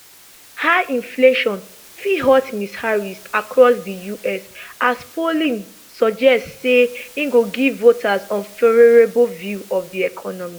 high inflation fit hurt ms harris across di us as polling suggest say e go give voters unfavourable view of di economy